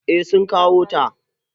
Eh sun kawo ta.